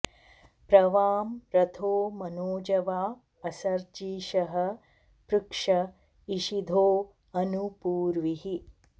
प्र वां॒ रथो॒ मनो॑जवा असर्जी॒षः पृ॒क्ष इ॒षिधो॒ अनु॑ पू॒र्वीः